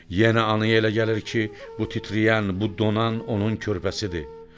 Yenə anaya elə gəlir ki, bu titrəyən, bu donan onun körpəsidir.